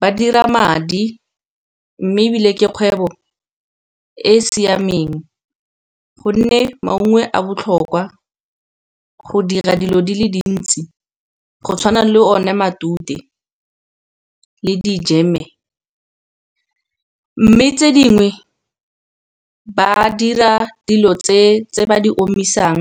ba dira madi mme ebile ke kgwebo e e siameng, gonne maungo a botlhokwa go dira dilo di le dintsi, go tshwana le one matute le di jam-e. Mme tse dingwe ba dira dilo tse ba di omisang.